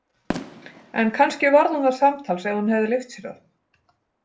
En kannski varð hún það samtals Ef hún hefði leyft sér það.